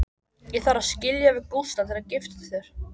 Ég þarf að skilja við Gústa til að giftast þér.